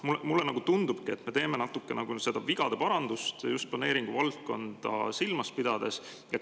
Mulle tundubki, et me teeme natukene nagu vigade parandust just planeeringuvaldkonda silmas pidades.